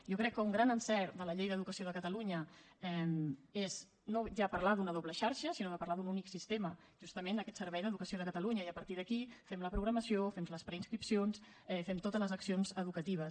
jo crec que un gran encert de la llei d’educació de catalunya és no ja parlar d’una doble xarxa sinó de parlar d’un únic sistema justament aquest servei d’educació de catalunya i a partir d’aquí fem la programació fem les preinscripcions fem totes les accions educatives